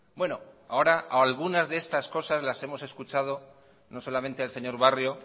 bueno ahora algunas de estas cosas las hemos escuchado no solamente al señor barrio